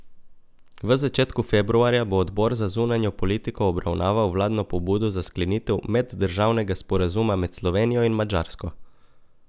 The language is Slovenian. V začetku februarja bo Odbor za zunanjo politiko obravnaval vladno pobudo za sklenitev meddržavnega sporazuma med Slovenijo in Madžarsko.